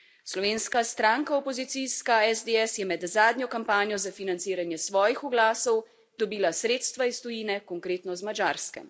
Slovenska stranka opozicijska SDS je med zadnjo kampanjo za financiranje svojih oglasov dobila sredstva iz tujine, konkretno iz Madžarske.